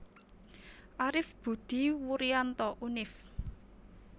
Arif Budi Wurianto Univ